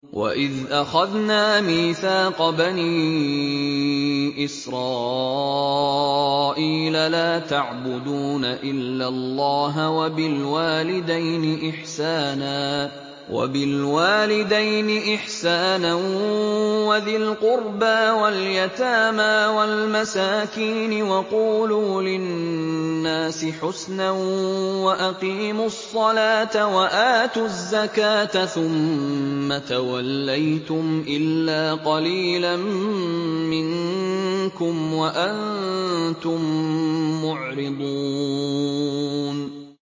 وَإِذْ أَخَذْنَا مِيثَاقَ بَنِي إِسْرَائِيلَ لَا تَعْبُدُونَ إِلَّا اللَّهَ وَبِالْوَالِدَيْنِ إِحْسَانًا وَذِي الْقُرْبَىٰ وَالْيَتَامَىٰ وَالْمَسَاكِينِ وَقُولُوا لِلنَّاسِ حُسْنًا وَأَقِيمُوا الصَّلَاةَ وَآتُوا الزَّكَاةَ ثُمَّ تَوَلَّيْتُمْ إِلَّا قَلِيلًا مِّنكُمْ وَأَنتُم مُّعْرِضُونَ